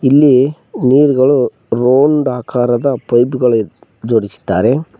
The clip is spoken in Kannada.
ಇಲ್ಲಿ ನೀರ್ ಗಳು ರೌಂಡ್ ಆಕಾರದ ಪೈಪ್ ಗಳು ಜೋಡಿಸಿದ್ದಾರೆ.